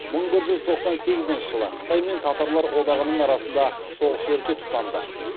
мың бір жүз тоқсан сегізінші жылы қытай мен татарлар одағының арасында соғыс өрті тұтанды